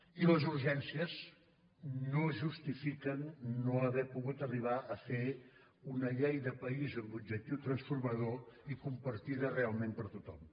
i les urgències no justifiquen no haver pogut arribar a fer una llei de país amb objectiu transformador i compartida realment per tothom